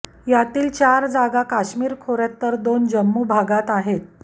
यातील चार जागा काश्मीर खोर्यात तर दोन जम्मू भागात आहेत